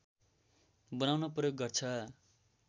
बनाउन प्रयोग गर्छ